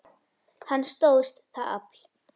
Hann stóðst það afl.